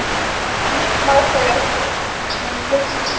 Finnur þú fyrir miklum áhuga hjá stuðningsmönnum liðsins?